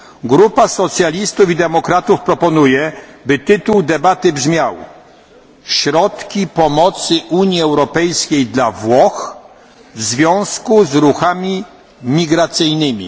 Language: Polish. Grupa Socjalistów i Demokratów proponuje, by tytuł debaty brzmiał Środki pomocy Unii Europejskiej dla Włoch w związku z ruchami migracyjnymi.